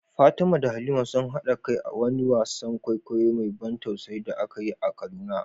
Fatima da Halima sun haɗa kai a wani wasan kwaikwayo mai ban tausayi da aka yi a Kaduna.